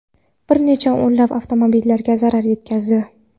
bir necha o‘nlab avtomobillarga zarar yetkazdi.